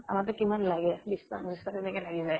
আমাকতো কিমান লাগে, বিছ্টা পঁচিছটা তেনেকে লাগি যায়।